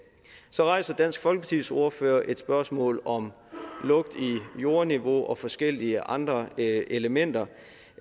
så rejser dansk folkepartis ordfører et spørgsmål om lugt i jordniveau og forskellige andre elementer